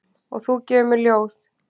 Og þú gefur mér ljóð.